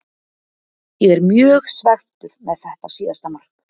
Ég er mjög svekktur með þetta síðasta mark.